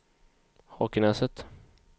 Hakenäset